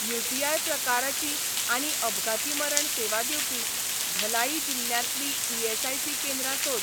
UTI प्रकाराचीं आनी अपघाती मरण सेवा दिवपी, धलाई जिल्ल्यांतलीं ईएसआयसी केंद्रां सोद.